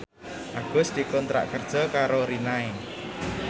Agus dikontrak kerja karo Rinnai